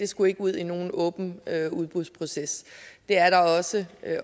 skulle ud i nogen åben udbudsproces der er også